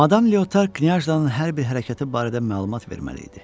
Madam Leotar Knyaşnanın hər bir hərəkəti barədə məlumat verməli idi.